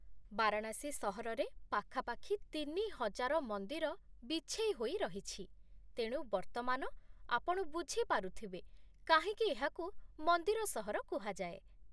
ବାରାଣାସୀ ସହରରେ ପାଖାପାଖି ତିନିହଜାର ମନ୍ଦିର ବିଛେଇ ହୋଇ ରହିଛି, ତେଣୁ ବର୍ତ୍ତମାନ ଆପଣ ବୁଝି ପାରୁଥିବେ କାହିଁକି ଏହାକୁ 'ମନ୍ଦିର ସହର' କୁହାଯାଏ।